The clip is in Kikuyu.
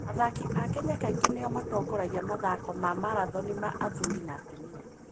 Athaki a Kenya kaingĩ nĩo matongoragia mathako ma marathoni ma athuri na atumia.